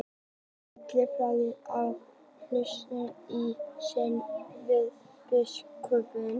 Allir prestarnir endurnýja hollustueið sinn við biskupinn.